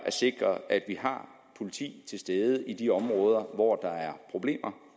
sikre at vi har politi til stede i de områder hvor der er problemer